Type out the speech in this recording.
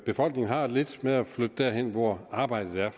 befolkningen har det lidt med at flytte derhen hvor arbejdet er